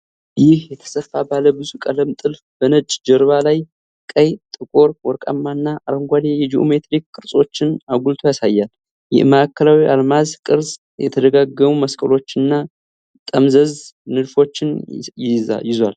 ይህ የተሰፋ ባለብዙ ቀለም ጥልፍ በነጭ ጀርባ ላይ ቀይ፣ ጥቁር፣ ወርቃማ እና አረንጓዴ የጂኦሜትሪክ ቅርጾችን አጉልቶ ያሳያል። የማዕከላዊው አልማዝ ቅርጽ የተደጋገሙ መስቀሎች እና ጠመዝማዛ ንድፎችን ይዟል።